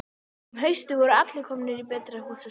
Og um haustið voru allir komnir í betra húsaskjól.